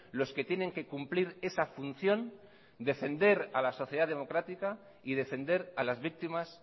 los que tienen que cumplir esa función defender a la sociedad democrática y defender a las víctimas